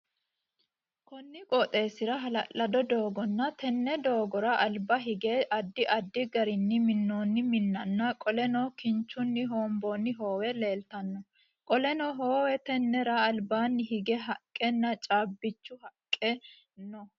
Konni qooxeesira hala'lado dooganna tenne doogora alba hige addi addi garinni minoonni minnanna qoleno kinchunni hoonboonni hoowe leeltano. Qoleno heewe tennera albaanni hige haqenna caabichu haqi no.